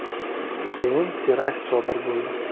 Keyin terakt sodir bo‘ldi.